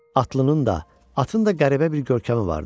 Atlının da, atın da qəribə bir görkəmi vardı.